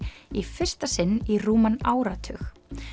í fyrsta sinn í rúman áratug